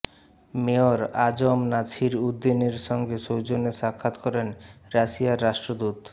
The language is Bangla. মেয়র আ জ ম নাছির উদ্দীনের সঙ্গে সৌজন্য সাক্ষাৎ করেন রাশিয়ার রাষ্ট্রদূত